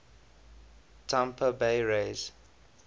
tampa bay rays